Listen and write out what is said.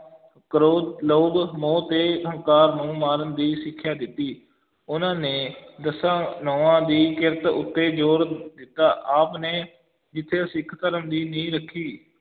ਕਰੋਧ, ਲੋਭ, ਮੋਹ ਤੇ ਹੰਕਾਰ ਨੂੰ ਮਾਰਨ ਦੀ ਸਿੱਖਿਆ ਦਿੱਤੀ, ਉਨਾਂ ਨੇ ਦਸਾਂ ਨਹੁੰਆਂ ਦੀ ਕਿਰਤ ਉਤੇ ਜ਼ੋਰ ਦਿੱਤਾ, ਆਪ ਨੇ ਜਿਥੇ ਸਿੱਖ ਧਰਮ ਦੀ ਨੀਂਹ ਰੱਖੀ,